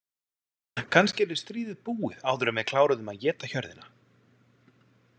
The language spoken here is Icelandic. Kannski yrði stríðið búið áður en við kláruðum að éta hjörðina?